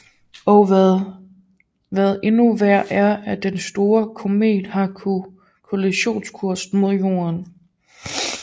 Og hvad endnu værre er at den store komet har kollisionskurs med Jorden